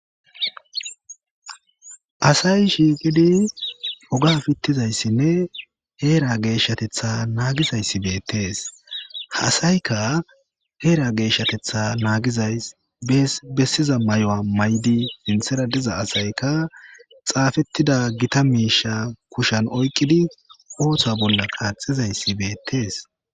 Asayi shiiqidi oge piitizayssinne heera geeshathethaa naagiza issi be'etees. Ha asayka heera geeshathethaa naagizays bees beesiza zammana mayo maydi, sinthara diza asayika xaafeettida gita miisha kushaan oyqidi oosa bollakka be'etees